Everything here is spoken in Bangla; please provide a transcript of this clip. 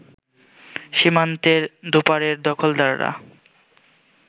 সীমান্তের দুপারের দখলদাররা